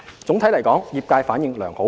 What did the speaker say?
總體來說，業界反應良好。